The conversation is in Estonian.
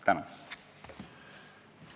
Tänan!